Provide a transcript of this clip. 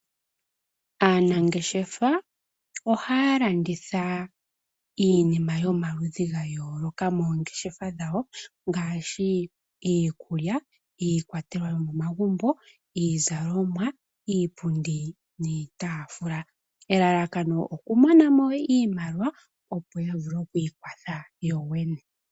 Aanangeshefa ohaya landitha iinima yomaludhi gayoolokathana moongeshefa dhawo ngaashi iikulya, iikwatelwa yomo magumbo , iizalomwa, iipundi niitaafula , elalakano okumona iimaliwa yo yavule okwii kwatha yoyene.